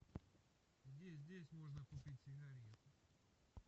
где здесь можно купить сигареты